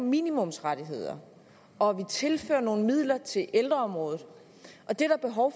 minimumsrettigheder og at vi tilfører nogle midler til ældreområdet det er der behov